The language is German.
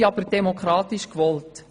Sie sind demokratisch gewollt.